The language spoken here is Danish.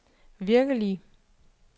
virkelige